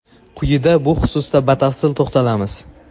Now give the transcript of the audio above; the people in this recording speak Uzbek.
Quyida bu xususda batafsil to‘xtalamiz.